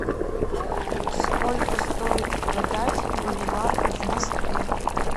сколько стоит продать боливар в москве